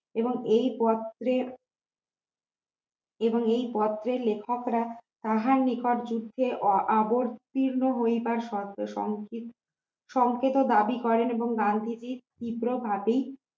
এবং এই পত্রে এবং এই পত্রের লেখকরা তাহার নিকট যুদ্ধে আ অবতীর্ণ হইবার সংক্ষি সংক্ষেপে দাবি করেন এবং গান্ধীজি ক্ষিপ্রভাবেই